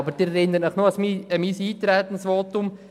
Sie erinnern sich aber an mein Eintretensvotum.